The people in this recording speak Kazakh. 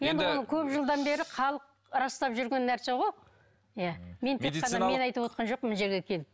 енді оны көп жылдан бері халық растап жүрген нәрсе ғой иә мен тек қана мен айтывотқан жоқпын мына жерге келіп